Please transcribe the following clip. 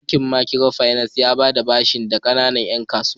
Bankin Makiro finas yana ba da bashi ga kanana 'yan kasuwa.